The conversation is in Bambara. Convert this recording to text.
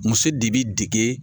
Muso de bɛ dege.